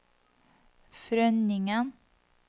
Frønningen